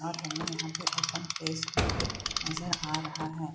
और हमें यहाँ पे ओपन प्लेस भी नजर आ रहा है।